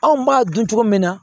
Anw b'a dun cogo min na